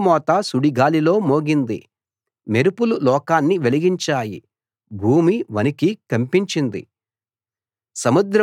నీ ఉరుముల మోత సుడిగాలిలో మోగింది మెరుపులు లోకాన్ని వెలిగించాయి భూమి వణికి కంపించింది